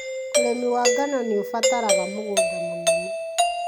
ũrĩmi wa ngano nĩũbataraga mũgũnda mũnene